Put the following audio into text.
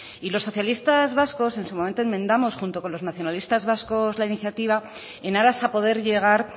y los socialistas vascos en su momento enmendamos junto con los nacionalistas vascos la iniciativa en aras a poder llegar